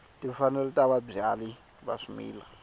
timfanelo ta vabyali va swimila